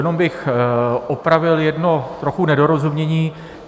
Jenom bych opravil jedno trochu nedorozumění.